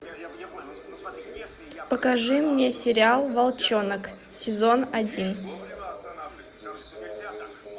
покажи мне сериал волчонок сезон один